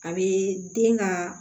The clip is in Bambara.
A bɛ den ka